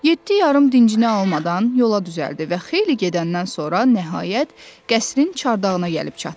Yeddi yarım dincini almadan yola düzəldi və xeyli gedəndən sonra nəhayət qəsrin çarçağına gəlib çatdı.